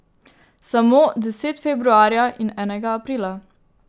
Samo deset februarja in enega aprila.